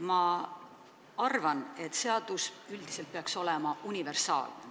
Ma arvan, et seadus peaks üldiselt olema universaalne.